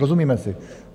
Rozumíme si?